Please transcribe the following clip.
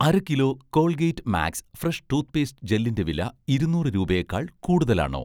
അര kilo 'Colgate Max Fresh' toothpaste ജെല്ലിൻ്റെ വില ഇരുന്നൂറ് രൂപയേക്കാൾ കൂടുതലാണോ?